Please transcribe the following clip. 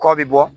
Kɔ bi bɔ